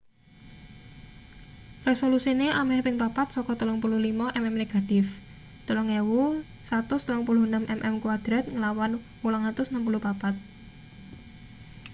resolusine ameh ping papat saka 35 mm negatif 3136 mm2 nglawan 864